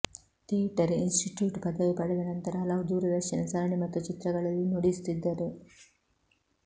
theatre institute ಪದವಿ ಪಡೆದ ನಂತರ ಹಲವು ದೂರದರ್ಶನ ಸರಣಿ ಮತ್ತು ಚಿತ್ರಗಳಲ್ಲಿ ನುಡಿಸುತ್ತಿದ್ದರು